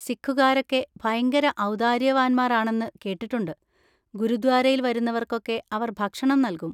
സിഖുകാരൊക്കെ ഭയങ്കര ഔദാര്യവാന്മാർ ആണെന്ന് കേട്ടിട്ടുണ്ട്, ഗുരുദ്വാരയിൽ വരുന്നവർക്കൊക്കെ അവർ ഭക്ഷണം നൽകും.